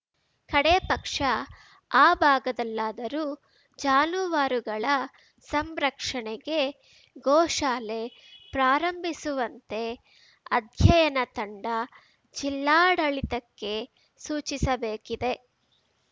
ಕಡೇಪಕ್ಷ ಆ ಭಾಗದಲ್ಲಾದರೂ ಜಾನುವಾರುಗಳ ಸಂರಕ್ಷಣೆಗೆ ಗೋಶಾಲೆ ಪ್ರಾರಂಭಿಸುವಂತೆ ಅಧ್ಯಯನ ತಂಡ ಜಿಲ್ಲಾಡಳಿತಕ್ಕೆ ಸೂಚಿಸಬೇಕಿದೆ